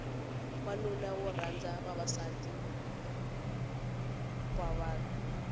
wanuna wo rhanda vavasativa vanhu